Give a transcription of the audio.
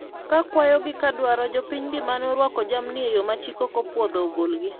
ka kwayo gi kadwaro jopiny'gi mane orwako jamni e yo machik ok opwodho ogolgi